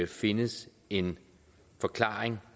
findes en forklaring